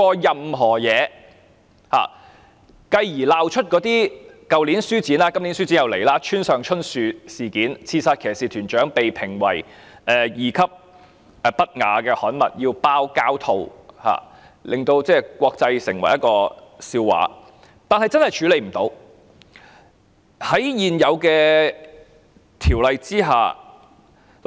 然後，便鬧出去年書展中，村上春樹的《刺殺騎士團長》被評為二級不雅刊物，須封上膠套，淪為國際笑話——今年書展即將開始，但問題仍未解決，現行的《條例》確實無法處理。